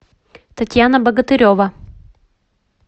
татьяна богатырева